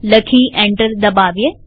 લખી એન્ટર દબાવીએ